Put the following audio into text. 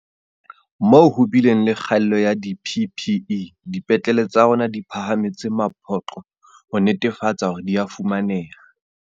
Moo ho bileng le kgaello ya di-PPE, dipetlele tsa rona di phahametse mapoqo ho netefatsa hore di a fumaneha.